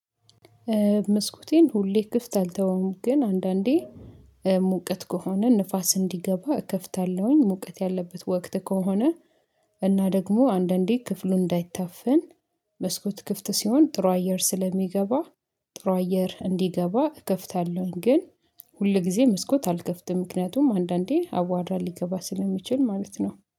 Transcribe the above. መስኮቴን ሁሌ ክፍት አልተወም ግን አንዳንዴ ሙቀት ከሆነ ንፋስ እንዲገባ እከፍታለሁኝ ሙቀት ያለበት ወቅት ከሆነ። እና ደግሞ አንዳንዴ ክፍሉ እንዳይታፈን መስኮት ክፍት ሲሆን ጥሩ አየር ስለሚገባ ጥሩ አየር እንዲገባ እከፍታለሁ፤። ግን ሁል ጊዜ መስኮት አልከፍትም ምክንያቱም አንዳንዴ አዋራ ሊገባ ስለሚችል ማለት ነው